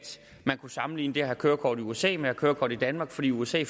man kunne sammenligne det at have kørekort i usa med at have kørekort i danmark for i usa